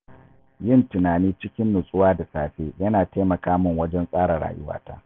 Yin tunani cikin natsuwa da safe yana taimaka min wajen tsara rayuwata.